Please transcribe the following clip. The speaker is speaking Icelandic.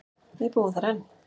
Við búum þar enn.